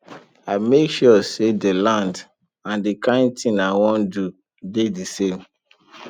i make sure say dey land and the kain thing i wan dey do dey the same